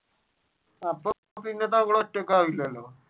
അപ്പൊ പിന്നെ നമ്മൾ ഒറ്റക്കാകില്ലലോ.